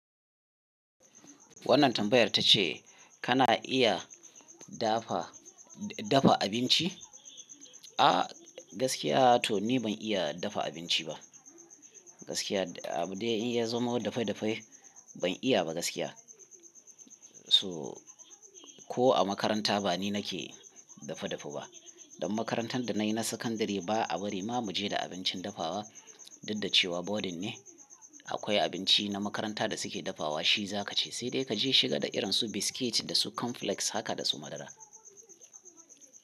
Wannan tambayar ta ce kana iya dafa, dafa abinci? A gaskiya to ni ban iya dafa abinci ba. Gaskiya, abin da ya zama dafai dafai ban iya ba gaskiya. So ko a makaranta ba ni nake dafa dafa ba. Don makarantar da na yi na sakandare ba a bari ma mu je da abincin dafawa. Duk da cewa boarding ne, akwai abinci na makaranta da suke dafawa shi za ka ci. Sai dai ka je shiga da irin su biskit da su cornflakes haka da su madara.